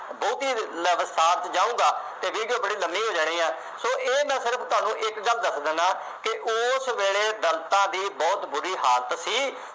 ਬਹੁਤੀ ਲੈ ਬਰਸਾਤ ਜਾਊਗਾ ਅਤੇ ਬੜੀ ਲੰਮੀ ਹੋ ਜਾਣੀ ਹੈ। ਸੋ ਇਹ ਮੈ ਂਸਿਰਫ ਤੁਹਾਨੂੰ ਇੱਕ ਗੱਲ ਦੱਸ ਦਿੰਦਾ, ਕਿ ਉਸ ਵੇਲੇ ਦਲਿਤਾਂ ਦੀ ਬਹੁਤ ਬੁਰੀ ਹਾਲਤ ਸੀ।